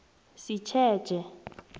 sitjetjhe